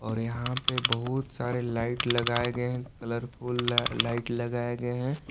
और यहां पे बहुत सारे लाइट लगाए गए हैं कलरफुल लाइट लगाए गए हैं।